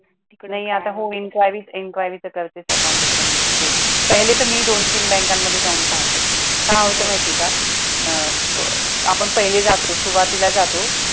नाही आता हो enquiry तर करतेच account opening ची ते पहिले तर मी दोन तीन बँकांमध्ये जाऊन पाहाते काय होतं माहिती आहे का अं आपण पहिले जातो सुरुवातीला जातो